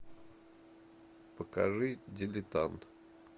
покажи дилетант